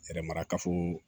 Yɛrɛ mara kafo